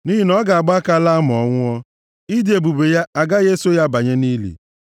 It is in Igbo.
nʼihi na ọ ga-agba aka laa ma ọ nwụọ, ịdị ebube ya agaghị eso ya banye nʼili.